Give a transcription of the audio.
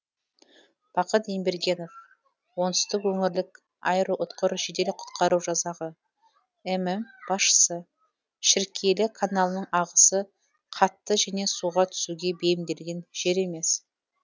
бақыт ембергенов оңтүстік өңірлік аэроұтқыр жедел құтқару жасағы мм басшысы шіркейлі каналының ағысы қатты және суға түсуге бейімделген жер емес